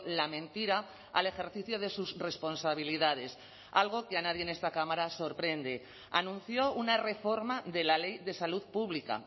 la mentira al ejercicio de sus responsabilidades algo que a nadie en esta cámara sorprende anunció una reforma de la ley de salud pública